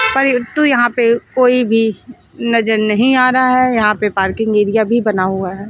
परन्तु यहां पे कोई भी नजर नहीं आ रहा है यहां पे पार्किंग एरिया भी बना हुआ है।